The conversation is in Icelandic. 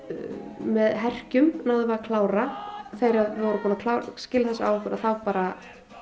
með herkjum náðum við að klára þegar við vorum búnar að skila þessu af okkur að þá bara